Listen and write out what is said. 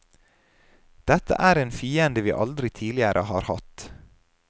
Dette er en fiende vi aldri tidligere har hatt.